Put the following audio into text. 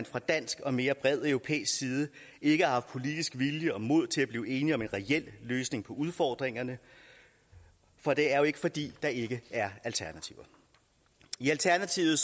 fra dansk og mere bred europæisk side har ikke haft politisk vilje og mod til at blive enige om en reel løsning på udfordringerne for det er jo ikke fordi der ikke er alternativer i alternativet